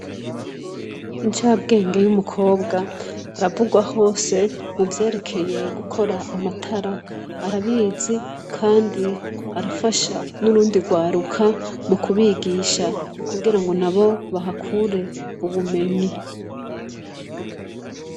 Incabwenge y'umukobwa aravurwa hose kuvyekeye gukora amatara arabizi kandi arafasha nurundi rwaruka mu kubigisha kugira nabo bahakure ubumenyi.